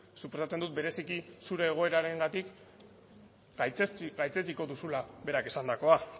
suposatzen dut bereziki zure egoerarengatik gaitzetsiko duzula berak esandakoa